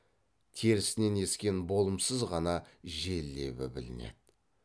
терісінен ескен болымсыз ғана жел лебі білінеді